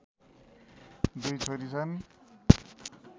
दुई छोरी छन्